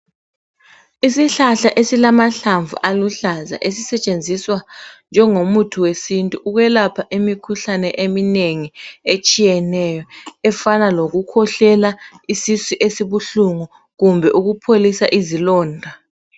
Isihlahla esilamahlamvu aluhlaza esisetshenziswa njengomuthi wesintu ukwelapha imikhuhlane eminengi etshiyeneyo, efana lokukhohlela, isisu esibuhlungu kumbe ukupholisa izilonda.